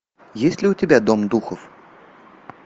есть ли у тебя дом духов